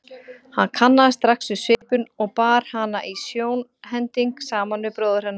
Hann kannaðist strax við svipinn og bar hana í sjónhending saman við bróður hennar.